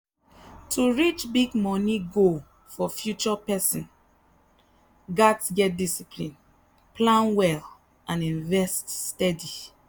to reach big money goal for future person gats get discipline plan well and invest steady.